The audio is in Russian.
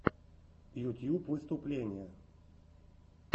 ютьюб выступления